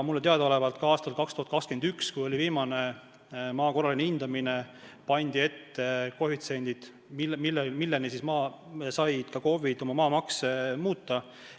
Mulle teadaolevalt ka aastal 2001, kui oli viimane maa korraline hindamine, pandi ette koefitsiendid, milleni said KOV-id oma maamakse muuta.